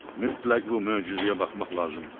Mütləq bu möcüzəyə baxmaq lazımdır.